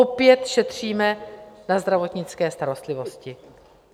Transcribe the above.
Opět šetříme na zdravotnické starostlivosti.